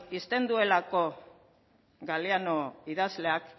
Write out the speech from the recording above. uzten duelako galeano idazleak